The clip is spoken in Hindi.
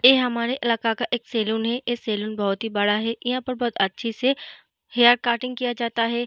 ये हमारे इलाका का एक सैलून है। ये सैलून बहोत ही बड़ा है। यहाँ पे बहोत अच्छी से हेयर कटिंग किया जाता है।